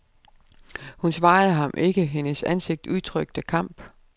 Hun svarede ham ikke, hendes ansigt udtrykte kamp.